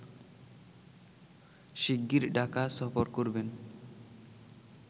শিগগির ঢাকা সফর করবেন